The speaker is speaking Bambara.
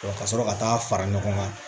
Ka sɔrɔ ka taa fara ɲɔgɔn kan